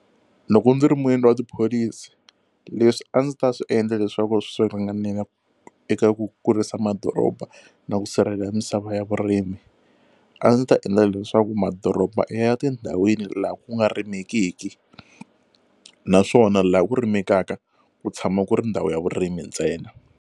Loko ndzi ri muendli wa tipholisi leswi a ndzi ta swi endla leswaku swi ringanela eka ku kurisa madoroba na ku sirhelela misava ya vurimi a ndzi ta endla leswaku madoroba i ya tindhawini laha ku nga rimekiki naswona laha ku rimekaka ku tshama ku ri ndhawu ya vurimi ntsena.